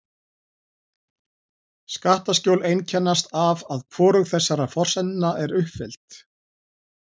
Skattaskjól einkennast af að hvorug þessara forsendna er uppfyllt.